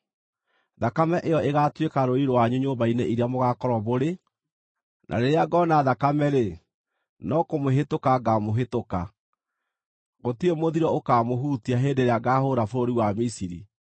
Thakame ĩyo ĩgaatuĩka rũũri rwanyu nyũmba-inĩ iria mũgaakorwo mũrĩ, na rĩrĩa ngoona thakame-rĩ, no kũmũhĩtũka ngaamũhĩtũka. Gũtirĩ mũthiro ũkamũhutia hĩndĩ ĩrĩa ngaahũũra bũrũri wa Misiri.